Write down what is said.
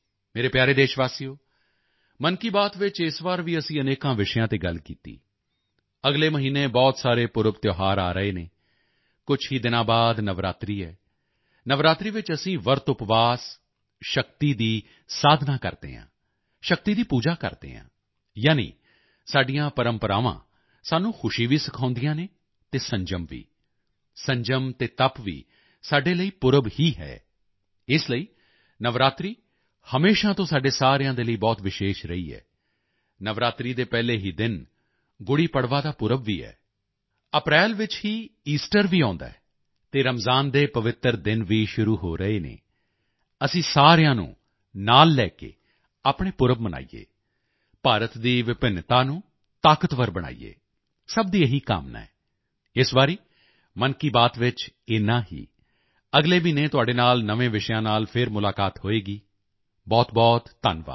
ਮੇਰੇ ਪਿਆਰੇ ਦੇਸ਼ਵਾਸੀਓ ਮਨ ਕੀ ਬਾਤ ਵਿੱਚ ਇਸ ਵਾਰ ਵੀ ਅਸੀਂ ਅਨੇਕਾਂ ਵਿਸ਼ਿਆਂ ਤੇ ਗੱਲ ਕੀਤੀ ਅਗਲੇ ਮਹੀਨੇ ਬਹੁਤ ਸਾਰੇ ਪੁਰਬਤਿਉਹਾਰ ਆ ਰਹੇ ਹਨ ਕੁਝ ਹੀ ਦਿਨਾਂ ਬਾਅਦ ਨਵਰਾਤਰੀ ਹੈ ਨਵਰਾਤਰੀ ਵਿੱਚ ਅਸੀਂ ਵਰਤਉਪਵਾਸ ਸ਼ਕਤੀ ਦੀ ਸਾਧਨਾ ਕਰਦੇ ਹਾਂ ਸ਼ਕਤੀ ਦੀ ਪੂਜਾ ਕਰਦੇ ਹਾਂ ਯਾਨੀ ਸਾਡੀਆਂ ਪਰੰਪਰਾਵਾਂ ਸਾਨੂੰ ਖੁਸ਼ੀ ਵੀ ਸਿਖਾਉਂਦੀਆਂ ਹਨ ਅਤੇ ਸੰਜਮ ਵੀ ਸੰਜਮ ਅਤੇ ਤਪ ਵੀ ਸਾਡੇ ਲਈ ਪੁਰਬ ਹੀ ਹੈ ਇਸ ਲਈ ਨਵਰਾਤਰੀ ਹਮੇਸ਼ਾ ਤੋਂ ਸਾਡੇ ਸਾਰਿਆਂ ਦੇ ਲਈ ਬਹੁਤ ਵਿਸ਼ੇਸ਼ ਰਹੀ ਹੈ ਨਵਰਾਤਰੀ ਦੇ ਪਹਿਲੇ ਹੀ ਦਿਨ ਗੁੜ੍ਹੀਪੜਵਾ ਦਾ ਪੁਰਬ ਵੀ ਹੈ ਅਪ੍ਰੈਲ ਵਿੱਚ ਹੀ ਈਸਟਰ ਵੀ ਆਉਂਦਾ ਹੈ ਤੇ ਰਮਜਾਨ ਦੇ ਪਵਿੱਤਰ ਦਿਨ ਵੀ ਸ਼ੁਰੂ ਹੋ ਰਹੇ ਹਨ ਅਸੀਂ ਸਾਰਿਆਂ ਨੂੰ ਨਾਲ ਲੈ ਕੇ ਆਪਣੇ ਪੁਰਬ ਮਨਾਈਏ ਭਾਰਤ ਦੀ ਵਿਭਿੰਨਤਾ ਨੂੰ ਤਾਕਤਵਰ ਬਣਾਈਏ ਸਭ ਦੀ ਇਹੀ ਕਾਮਨਾ ਹੈ ਇਸ ਵਾਰੀ ਮਨ ਕੀ ਬਾਤ ਵਿੱਚ ਏਨਾ ਹੀ ਅਗਲੇ ਮਹੀਨੇ ਤੁਹਾਡੇ ਨਾਲ ਨਵੇਂ ਵਿਸ਼ਿਆਂ ਨਾਲ ਫਿਰ ਮੁਲਾਕਾਤ ਹੋਵੇਗੀ ਬਹੁਤਬਹੁਤ ਧੰਨਵਾਦ